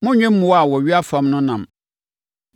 “ ‘Monnnwe mmoa a wɔwea fam no ɛnam.